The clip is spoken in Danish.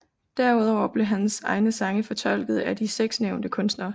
Derudover blev hans egne sange fortolket af de 6 nævnte kunstnere